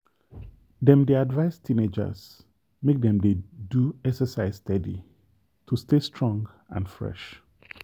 dem dey advise teenagers make dem dey do exercise steady to stay strong and fresh.